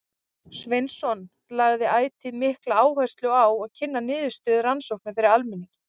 Sveinsson lagði ætíð mikla áherslu á að kynna niðurstöður rannsókna fyrir almenningi.